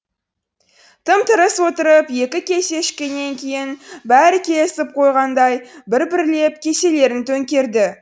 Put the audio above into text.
тым тырыс отырып екі кесе ішкеннен кейін бәрі келісіп қойғандай бір бірлеп кеселерін төңкерді